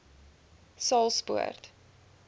saulspoort